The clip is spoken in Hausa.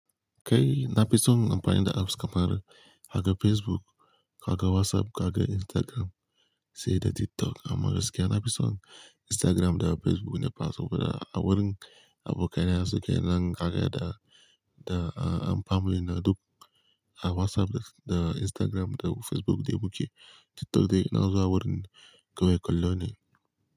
Kai nafi son amfani da apps kamar haga Facebook, kaga WhatsApp, kaga Instagram, sai da TikTok. Amma gaskiya nafi son Instagram da Facebook ne fa saboda a wurin abokai na suke nan kaga da, da a, and family na duk a WhatsApp da Instagram da Facebook dai mu ke. TikTok dai ina zuwa wurin kawai kallo ne.